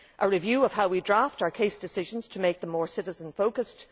a review of how we draft our case decisions to make them more citizen focused